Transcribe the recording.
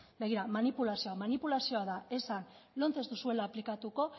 begira manipulazioa da esan lomce ez duzuela aplikatuko